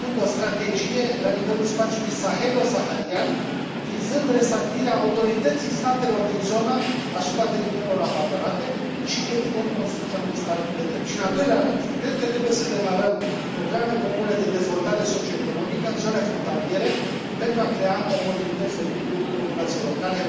În primul rând, o strategie la nivelul spațiului sahelo saharian, vizând restabilirea autorității statelor din zonă asupra teritoriilor abandonate și, evident, construcția unui stat de drept. Și în al doilea rând, cred că trebuie să demarăm programe comune de dezvoltare socioeconomică în zone frontaliere, pentru a crea oportunități de lucru populațiilor locale.